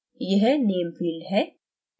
यह name field है